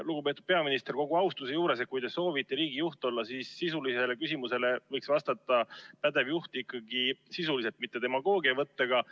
Lugupeetud peaminister, kogu austuse juures: kui te soovite riigijuht olla, siis sisulisele küsimusele võiks pädev juht ikkagi vastata sisuliselt, mitte demagoogiavõtet kasutades.